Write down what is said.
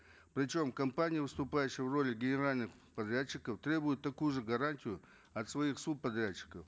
причем компания выступающая в роли генерального подрядчика требует такую же гарантию от своих субподрядчиков